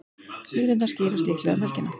Línurnar skýrast líklega um helgina.